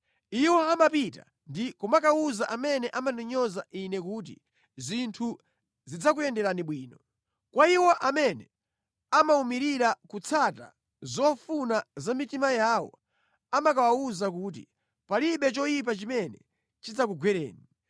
Iwo amapita ndi kumakawuza amene amandinyoza Ine kuti, ‘zinthu zidzakuyenderani bwino.’ Kwa iwo amene amawumirira kutsata zofuna za mitima yawo amakawawuza kuti, ‘palibe choyipa chimene chidzakugwereni.’ ”